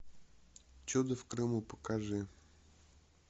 чудо в крыму покажи